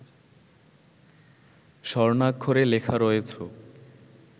স্বর্ণাক্ষরে লেখা রয়েছ